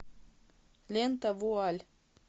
лента вуаль